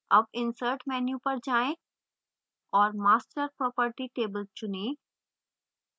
अब insert menu पर जाएँ और master property table चुनें